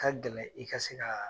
Ka gɛlɛn i ka se ka